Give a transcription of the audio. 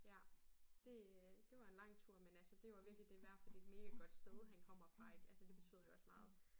Ja det øh det var en lang tur men altså det var virkelig det værd for det et mega godt sted han kommer fra ik altså det betyder jo også meget